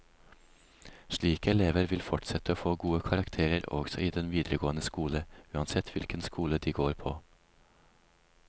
Slike elever vil fortsette å få gode karakterer også i den videregående skole, uansett hvilken skole de går på.